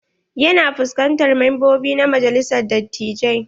Ya na fuskantar membobi na majalisar dattijai.